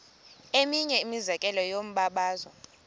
eminye imizekelo yombabazo